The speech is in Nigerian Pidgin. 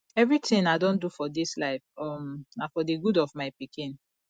everything i don do for dis life um na for the good of my pikin